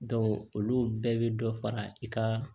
olu bɛɛ bɛ dɔ fara i ka